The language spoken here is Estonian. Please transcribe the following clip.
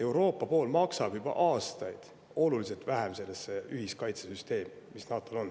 Euroopa on juba aastaid oluliselt vähem maksnud sellesse ühiskaitsesüsteemi, mis NATO‑l on.